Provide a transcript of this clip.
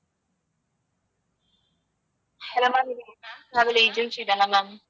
hello ma'am travel agency தானே ma'am